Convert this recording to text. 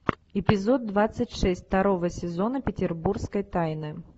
эпизод двадцать шесть второго сезона петербургской тайны